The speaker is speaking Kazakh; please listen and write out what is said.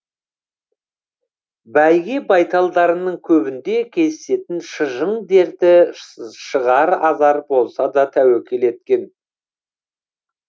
бәйге байталдарының көбінде кездесетін шыжың дерті шығар азар болса деп тәуекел еткен